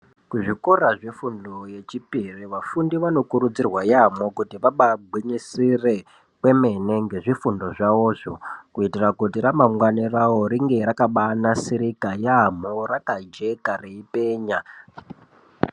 Kuzvikora yefundo yechipiri vafundi vanokurudzirwa yaamho kuti vagwinyisire kwemene ngezvifundo zvavozvo kuitira kuti ramangwani ravoro ringe rakabanasirika yamho rakajeka reipenya.